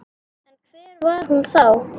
En hver var hún þá?